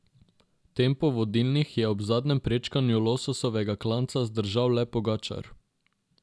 Tempo vodilnih je ob zadnjem prečkanju lososovega klanca zdržal le Pogačar.